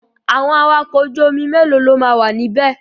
Àwọn awakọ̀ ojú omi mélòó lo máa wà níbẹ̀?